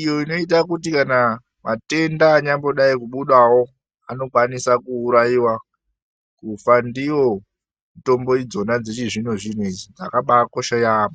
Iyo inoita kuti kana matenda anyamboda kudai kubudavo anokwanisa kuuraiva kufandiyo mitombo dzona dzechizvino-zvino idzi, dzakabakosha yaamho.